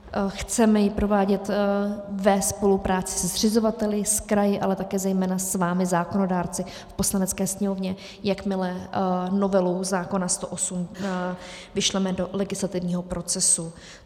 Chceme ji provádět ve spolupráci se zřizovateli, s kraji, ale také zejména s vámi zákonodárci v Poslanecké sněmovně, jakmile novelu zákona 108 vyšleme do legislativního procesu.